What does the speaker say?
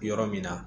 Yɔrɔ min na